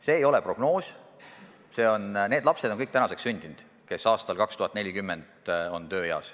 See ei ole prognoos, kõik need lapsed on tänaseks sündinud, kes aastal 2040 on tööeas.